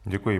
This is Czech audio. Děkuji.